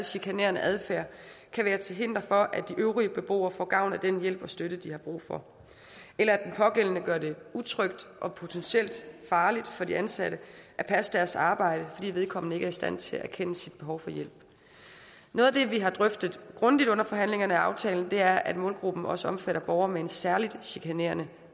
chikanerende adfærd kan være til hinder for at de øvrige beboere får gavn af den hjælp og støtte de har brug for eller at den pågældende gør det utrygt og potentielt farligt for de ansatte at passe deres arbejde fordi vedkommende ikke er i stand til at erkende sit behov for hjælp noget af det vi har drøftet grundigt under forhandlingerne af aftalen er at målgruppen også omfatter borgere med en særligt chikanerende